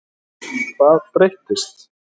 Hvað breyttist?